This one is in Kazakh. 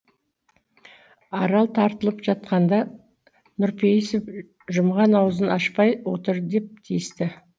арал тартылып жатқанда нұрпейісов жұмған аузын ашпай отыр деп тиісті